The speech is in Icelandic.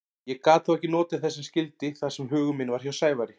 Ég gat þó ekki notið þess sem skyldi þar sem hugur minn var hjá Sævari.